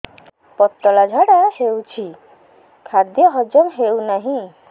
ପତଳା ଝାଡା ହେଉଛି ଖାଦ୍ୟ ହଜମ ହେଉନାହିଁ